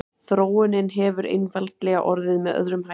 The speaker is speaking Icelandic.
Þróunin hefur einfaldlega orðið með öðrum hætti.